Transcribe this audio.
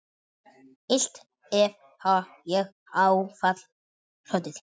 Illt hef ég áfall hlotið.